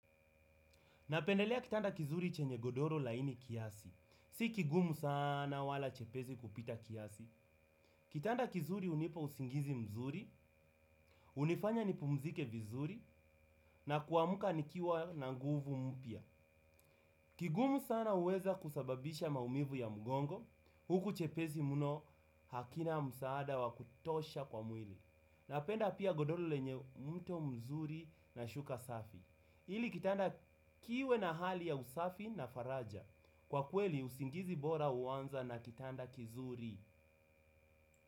Napendelea kitanda kizuri chenye godoro laini kiasi. Si kigumu sana wala chepesi kupita kiasi. Kitanda kizuri hunipa usingizi mzuri, hunifanya nipumzike vizuri, na kuamka nikiwa na nguvu mpya. Kigumu sana huweza kusababisha maumivu ya mgongo, huku chepesi mno hakina msaada wa kutosha kwa mwili. Napenda pia godoro lenye mto mzuri na shuka safi. Ili kitanda kiwe na hali ya usafi na faraja. Kwa kweli, usingizi bora huanza na kitanda kizuri.